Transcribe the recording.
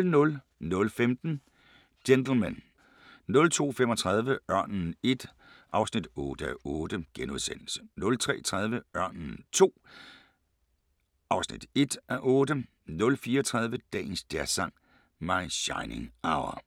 00:15: Gentlemen 02:35: Ørnen I (8:8)* 03:30: Ørnen II (1:8) 04:30: Dagens Jazzsang: My Shining Hour *